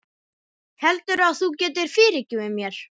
Heldurðu að þú getir fyrirgefið mér?